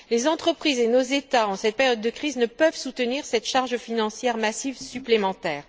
Les entreprises et nos États, en cette période de crise, ne peuvent soutenir cette charge financière massive supplémentaire.